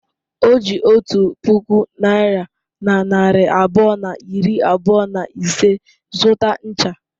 O ji otu puku naịra na narị abụọ na iri abụọ na ise zụta ncha.